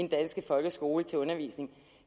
danske folkeskole til undervisning